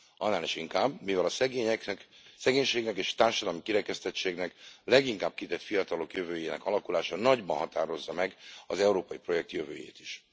Annál is inkább, mivel a szegénységnek és a társadalmi kirekesztettségnek leginkább kitett fiatalok jövőjének alakulása nagyban határozza meg az európai projekt jövőjét is.